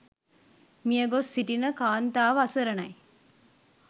මියගොස් සිටින කාන්තාව අසරණයි.